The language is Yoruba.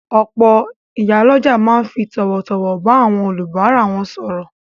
Òpò ìyálójà ma n fi tòwòtòwò ba áwon olùbárà won sòrò